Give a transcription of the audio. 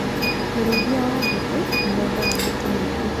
ũrĩithia wa njũki nĩweendaga mĩtĩ mĩingĩ